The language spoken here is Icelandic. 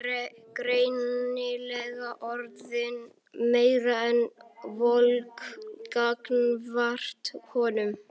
Og greinilega orðin meira en volg gagnvart honum.